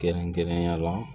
Kɛrɛnkɛrɛnnenya la